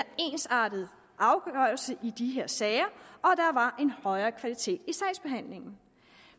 ensartet afgørelse i de her sager og en højere kvalitet i sagsbehandlingen